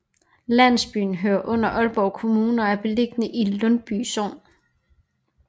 Landsbyen hører under Aalborg Kommune og er beliggende i Lundby Sogn